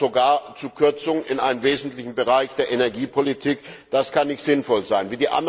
Es kommt sogar zu Kürzungen in einem wesentlichen Bereich der Energiepolitik. Das kann nicht sinnvoll sein.